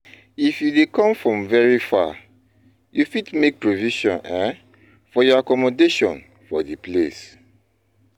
If you dey come from very far, you fit make provision um for your accommdation for di place